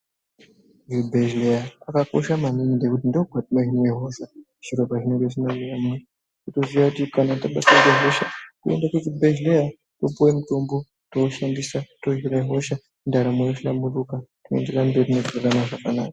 Kuchibhehleya kwakakosha maningi nekuti ndokwatino hinwa hosha zviro pazvinge zvisina kumira mushe toziva kuti kana tabatwa nehosha toenda kuzvibhelera topiwa mutombo toushandisa tohina hoswa ndaramo yohlamburika toenderera nendaramo zvakanaka .